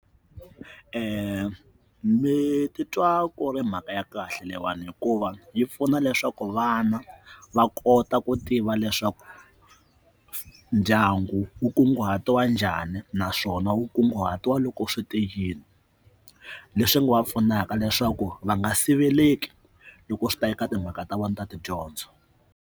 ni ti twa ku ri mhaka ya kahle leyiwani hikuva yi pfuna leswaku vana va kota ku tiva leswaku ndyangu wu wu nkunguhatiwa njhani naswona wu kunguhatiwile loko swi teyini leswi nga va pfunaka leswaku va nga siveleka loko swi ta eka timhaka ta vona ta tidyondzo.